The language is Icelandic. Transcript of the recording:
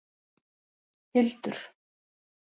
Hildur